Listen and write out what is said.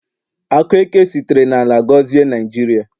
Akụ eke sitere n'ala gọzie Naijiria